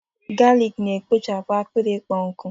galik na-ekpochapụ akpịrị ịkpọ nkụ